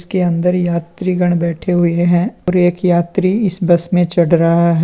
के अंदर यात्रीगण बैठे हुए हैं और एक यात्री इस बस में चढ़ रहा है।